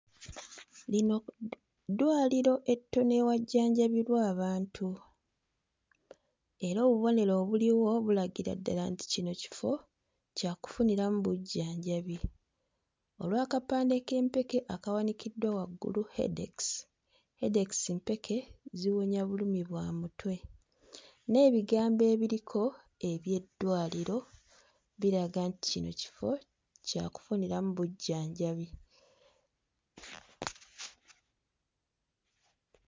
Lino ddwaliro ettono ewajjanjabibwa abantu. Era obubonero obuliwo bulagira ddala nti kino kifo kya kufuniramu bujjanjabi olw'akapande k'empeke akawanikiddwa waggulu headex. Headex mpeke ziwonya bulumi bwa mutwe. N'ebigambo ebiriko eby'eddwaliro biraga nti kino kifo kya kufuniramu bujjanjabi.